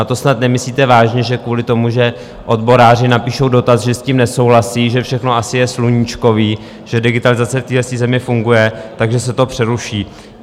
A to snad nemyslíte vážně, že kvůli tomu, že odboráři napíšou dotaz, že s tím nesouhlasí, že všechno asi je sluníčkové, že digitalizace v této zemi funguje, takže se to přeruší.